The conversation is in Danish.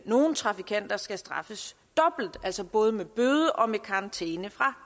nogle trafikanter skal straffes dobbelt altså både med bøde og med karantæne fra